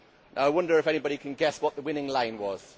I wonder if anybody can guess what the winning line was.